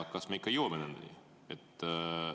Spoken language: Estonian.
Kas me ikka jõuame nendeni?